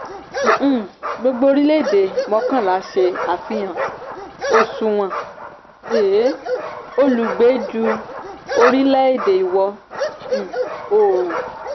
um gbógbo orílẹ̀ èdè mọ́kànlá ṣe àfihàn òṣùwọ̀n um olùgbé ju orílẹ̀ èdè ìwọ um oòrùn.